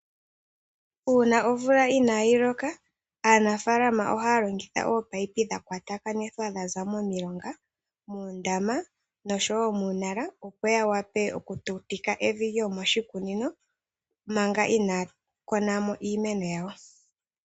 Uuna omvula ina yi loka, aanafaalama ahaya longitha oopayipi dhakwatakanithwa dha za momilonga, moondama, nosho woo muunala. Opo ya wape oku tutika evi lyomoshikunina manga ina ya kuna mo iimeno yawo.